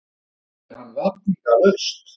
spurði hann vafningalaust.